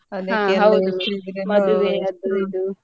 ಹೌದು ಮದ್ವೆ ಅದು ಇದು.